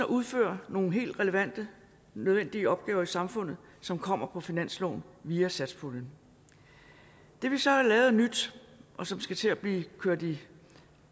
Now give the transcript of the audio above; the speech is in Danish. udfører nogle helt relevante og nødvendige opgaver i samfundet som kommer på finansloven via satspuljen det vi så har lavet af nyt og som skal til at blive kørt i